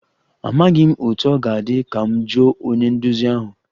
Amaghị m otú ọ ga-adị, ka m jụọ onye nduzi ahụ